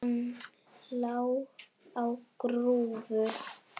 Hann lá á grúfu.